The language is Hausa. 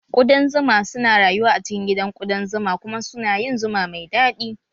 Kuɗan zuma su na rayuwa a cikin gidan kuɗan zuma kuma su na yin zuma mai daɗi